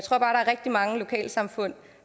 rigtig mange lokalsamfund